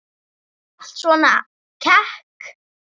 Alltaf svona kekk?